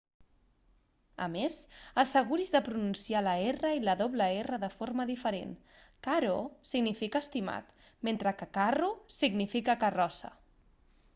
a més asseguris de pronunciar la r i la rr de forma diferent caro significa estimat mentre que carro significa carrossa